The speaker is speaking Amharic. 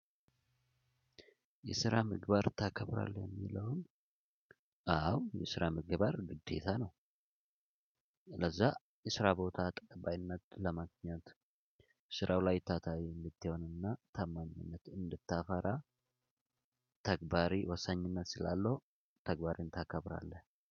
የስራ ምግባር ታከብራለህ የሚለውን? አ አዎ የስራ ምግባር ግዴታ ነው። ስለዛ የስራ ቦታ ጥበብ አይነት ለማግኘት። ስራው ላይ ታታሪ እንድትሆንና ታማኝነት እንድታፈራ። ተግባሪ ወሳኝነት ስላለው ተግባርን ታከብራለህ።